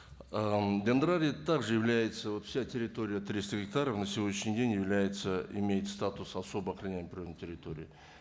ыыы дендрарий так же является его вся территория триста гектаров на сегодняшний день является имеет статус особо охраняемой природной территории